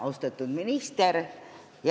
Austatud minister!